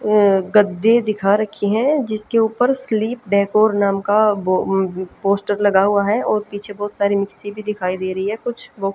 अं गद्दे दिखा रखी है जिसके ऊपर स्लिप डेकोर नाम का बो अं पोस्टर लगा हुआ है और पीछे बहोत सारी मिक्सी भी दिखाई दे रही है कुछ--